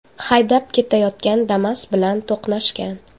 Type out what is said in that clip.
haydab ketayotgan Damas bilan to‘qnashgan.